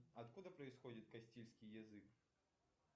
откуда происходит кастильский язык